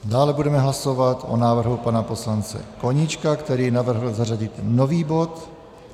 Dále budeme hlasovat o návrhu pana poslance Koníčka, který navrhl zařadit nový bod.